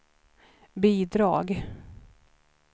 bidrag